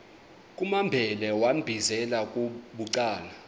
kumambhele wambizela bucala